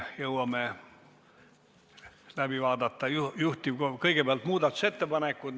Me vaatame kõigepealt läbi muudatusettepanekud.